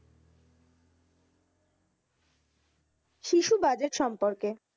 শিশু budget সম্পর্কে,